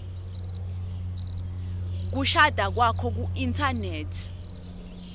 kushada kwakho kuinthanethi